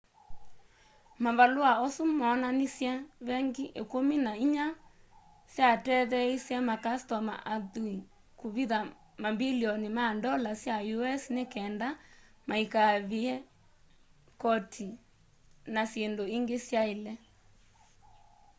mavalũa asu moonanishe vengi ikũmi na inya syatetheeisye makastoma athui kũvitha mambilioni ma ndola sya us ni kenda maikaive koti na syindũ ingi syaile